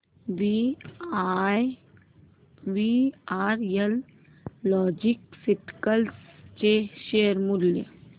VRL logistics चे share मूल्य